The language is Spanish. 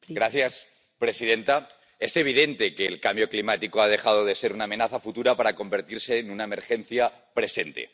Señora presidenta, es evidente que el cambio climático ha dejado de ser una amenaza futura para convertirse en una emergencia presente.